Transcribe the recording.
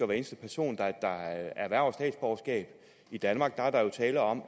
hver eneste person der erhverver statsborgerskab i danmark er der jo tale om